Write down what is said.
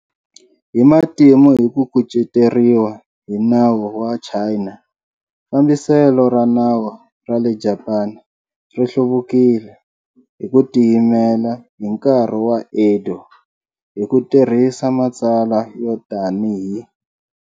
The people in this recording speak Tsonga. Hi matimu hi ku kuceteriwa hi nawu wa China, fambiselo ra nawu ra le Japani ri hluvukile hi ku tiyimela hi ku tiyimela hi nkarhi wa Edo hi ku tirhisa matsalwa yo tanihi.